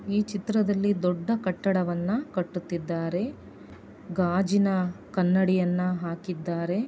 ಈ ಚಿತ್ರದಲ್ಲಿ ದೊಡ್ಡ ಕಟ್ಟಡವನ್ನ ಕಟ್ಟುತ್ತಿದ್ದಾರೆ. ಗಾಜಿನ ಕನ್ನಡಿಯನ್ನ ಹಾಕಿದ್ದಾರೆ.